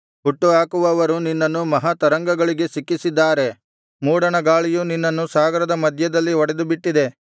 ಹುಟ್ಟುಹಾಕುವವರು ನಿನ್ನನ್ನು ಮಹಾ ತರಂಗಗಳಿಗೆ ಸಿಕ್ಕಿಸಿದ್ದಾರೆ ಮೂಡಣ ಗಾಳಿಯು ನಿನ್ನನ್ನು ಸಾಗರದ ಮಧ್ಯದಲ್ಲಿ ಒಡೆದುಬಿಟ್ಟಿದೆ